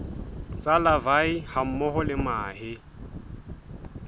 tsa larvae hammoho le mahe